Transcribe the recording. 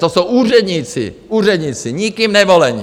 To jsou úředníci, úředníci nikým nevolení!